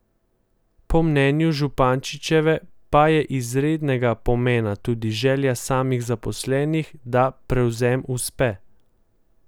Po mnenju Zupaničeve pa je izrednega pomena tudi želja samih zaposlenih, da prevzem uspe.